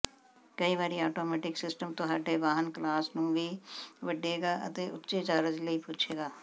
ਕਈ ਵਾਰੀ automatic system ਤੁਹਾਡੇ ਵਾਹਨ ਕਲਾਸ ਨੂੰ ਵੀ ਵੱਢੇਗਾ ਅਤੇ ਉੱਚੇ ਚਾਰਜ ਲਈ ਪੁਛੇਗਾ